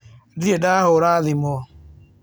Ndirĩ ndahũra thimũ